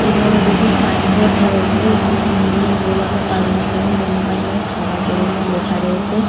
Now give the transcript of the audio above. এবং দুটি sign board রয়েছে। একটি সাইন বোর্ড -এর নীরবতা পালন করুন বন্য প্রাণীকে খাবার দেবেন না লেখা রয়েছে।